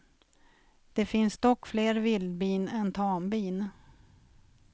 Det finns dock fler vildbin än tambin.